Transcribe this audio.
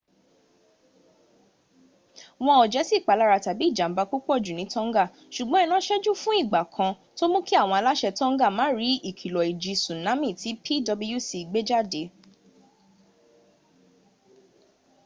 wọn ò jésì ìpalára tàbí ìjàmba púpọ̀jù ní tonga ṣùgbọ́n iná ṣẹ́jú fún ìgbà kan tó mú kí àwọn aláṣẹ tonga má rí ìkilọ̀ ìjì súnámì tí pwc gbéjáde